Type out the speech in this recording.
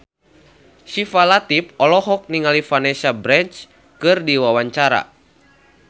Syifa Latief olohok ningali Vanessa Branch keur diwawancara